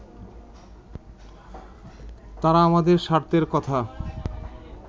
তারা আমাদের স্বার্থের কথা